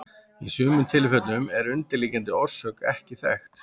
Í sumum tilfellum er undirliggjandi orsök ekki þekkt.